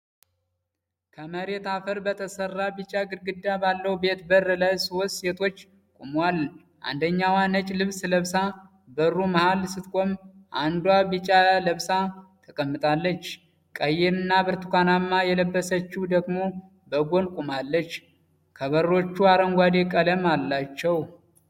ከመሬት አፈር በተሰራ ቢጫ ግድግዳ ባለው ቤት በር ላይ ሶስት ሴቶች ቆመዋል። አንደኛዋ ነጭ ልብስ ለብሳ በሩ መሃል ስትቆም፣ አንዷ ቢጫ ለብሳ ተቀምጣለች፣ ቀይና ብርቱካንማ የለበሰችው ደግሞ በጎን ቆማለች። ከበሮቹ አረንጓዴ ቀለም አላቸው።